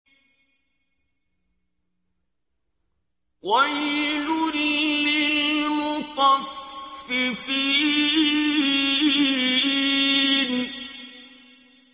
وَيْلٌ لِّلْمُطَفِّفِينَ